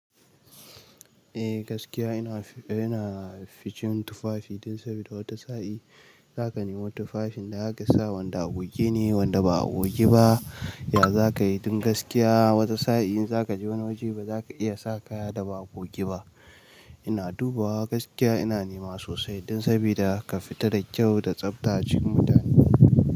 Eh gaskiya ina, ina ficin tufafi dan sabida wata sa'i za ka nemo tufafin da za ka sa wanda a goge ne wanda ba a goge ba. Ya za ka yi? Don gaskiya wata sa'i in za ka je wani waje ba za ka iya sa kaya da ba goge ba. Ina dubawa gaskiya ina nema sosai dan sabida ka fita da kyau da tsafta cikin mutane.